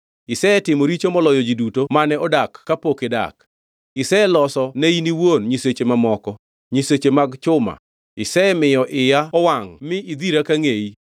Isetimo richo moloyo ji duto mane odak kapok idak. Iseloso ne in iwuon nyiseche mamoko, nyiseche mag chuma; isemiyo iya owangʼ mi idhira ka ngʼeyi.